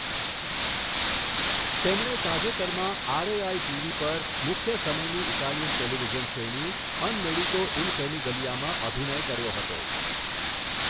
તેમણે તાજેતરમાં RAI TV પર મુખ્ય સમયની ઇટાલિયન ટેલિવિઝન શ્રેણી, અન મેડિકો ઇન ફેમિગલીયામાં અભિનય કર્યો હતો.